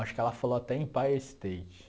Acho que ela falou até Empire State.